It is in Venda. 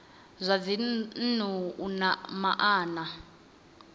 zwa dzinnu u na maana